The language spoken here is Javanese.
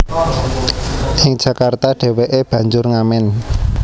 Ing Jakarta dheweke banjur ngamen